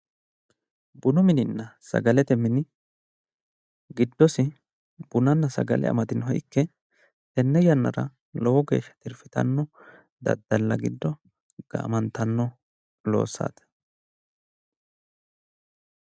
Bunu mininna sagalete mini giddosi bunanna sagale amadinoha ikke tenne yannara lowo geeshsha tirfitanno daddalla giddo gaamantanno loossati.